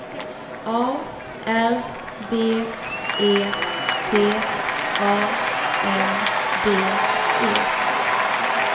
A R B E T A N D E